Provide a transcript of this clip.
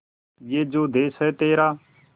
ये जो देस है तेरा